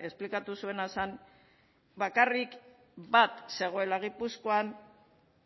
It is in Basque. esplikatu zuena zen bakarrik bat zegoela gipuzkoan